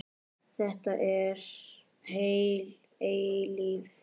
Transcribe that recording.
Þetta var heil eilífð.